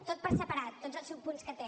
tot per separat tots els subpunts que té